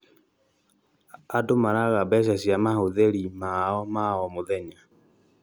andũ maraaga mbeca cia mahũthĩri maao ma o mũthenya